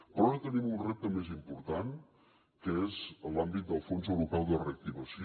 però ara tenim un repte més important que és en l’àmbit del fons europeu de reactivació